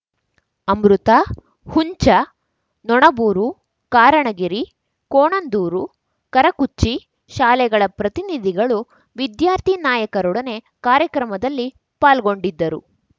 ಅಮೃತ ಹುಂಚ ನೊಣಬೂರು ಕಾರಣಗಿರಿ ಕೋಣಂದೂರು ಕರಕುಚ್ಚಿ ಶಾಲೆಗಳ ಪ್ರತಿನಿಧಿಗಳು ವಿದ್ಯಾರ್ಥಿ ನಾಯಕರೊಡನೆ ಕಾರ್ಯಕ್ರಮದಲ್ಲಿ ಪಾಲ್ಗೊಂಡಿದ್ದರು